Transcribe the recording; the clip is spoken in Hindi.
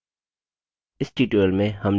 इस tutorial में हम निम्न के बारे में सीखेंगे